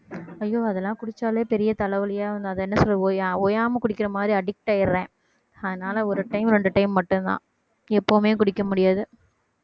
ஐயோ அதெல்லாம் குடிச்சாலே பெரிய தலைவலியே வரும் அது என்ன சொல்லுவோம் ஓயாம குடிக்கிற மாதிரி addict ஆயிடுறேன் அதனால ஒரு time இரண்டு time மட்டும்தான் எப்பவுமே குடிக்க முடியாது